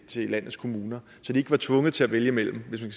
til landets kommuner så de ikke var tvunget til at vælge mellem hvis man